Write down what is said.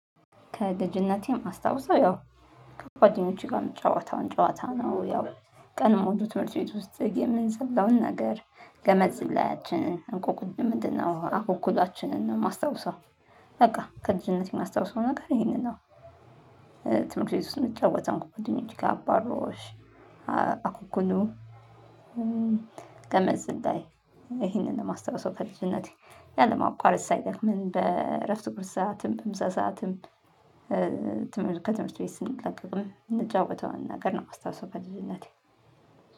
ከልጅነቴም ማስታውሰው ያው ከጓደኖቼ ጋር ምጫወተውን ጨዋታ ነው። ያው ቀን ሙሉ ትምህርት ቤት ውስጥ የምንዘለውን ነገር ገመድ ዝላያችንን እንቆቅልን ምንድነው አኩኩሏችንን ነው? የማስታውሰው በቃ ከልጅነቴ የማስታውሰው ነገር ይሄንን ነው። ትምህርት ቤት ውስጥ ምንጫወተውን ጓደኞቼ ጋር አባሮሽ አኩኩሉ ገመድ ዝላይ። ይሄንን ማስታውሰው ከልጅነቴ ያለማቋረጥ ሳይደክመን በእረፍት ቁርስ ሰዓትም በምሳ ሰዓትም ትምህርት ከትምህርት ቤት ስንለቀቅም ምንጫወተውን ነገር ነው ማስታውሰው። በልጅነቴ